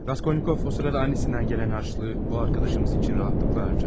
Raskolnikov o sırada annesinden gelen harçlığı o arkadaşımız için rahatlıkla harcadı.